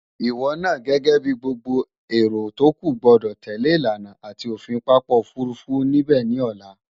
Ìwo naa gęgę bi gbogbo èrò tókù gbo̩dò̩ tèlé ìlànà àti òfin papa òfurufú níbę ni òla.